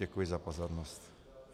Děkuji za pozornost.